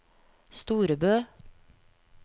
Storebø